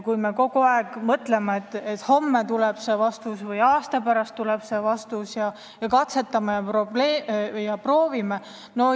Kui me kogu aeg mõtleme, et homme tuleb see vastus või aasta pärast tuleb see vastus ning me katsetame ja proovime, siis see ei ole vastutustundlik.